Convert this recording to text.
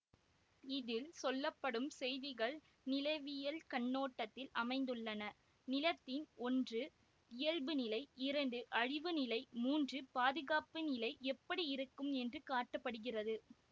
இதில் சொல்ல படும் செய்திகள் நிலவியல் கண்ணோட்டத்தில் அமைந்துள்ளன நிலத்தின் ஒன்று இயல்புநிலை இரண்டு அழிவுநிலை மூன்று பாதுகாப்புநிலை எப்படி இருக்கும் என்று காட்ட படுகிறது